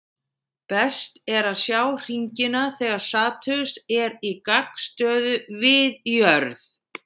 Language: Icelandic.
Best er að sjá hringina þegar Satúrnus er í gagnstöðu við jörð.